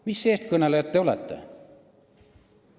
Mis eestkõnelejad te olete?